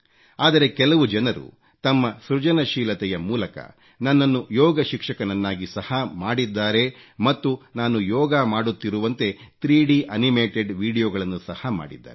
ಆದರೆ ಕೆಲವು ಜನರು ತಮ್ಮ ಸೃಜನಶೀಲತೆಯ ಮೂಲಕ ನನ್ನನ್ನು ಯೋಗ ಶಿಕ್ಷಕನನ್ನಾಗಿ ಸಹ ಮಾಡಿದ್ದಾರೆ ಮತ್ತು ನಾನು ಯೋಗ ಮಾಡುತ್ತಿರುವಂತೆ 3ಆ ಅನಿಮೇಟೆಡ್ ವೀಡಿಯೊ ಗಳನ್ನೂ ಸಹ ಮಾಡಿದ್ದಾರೆ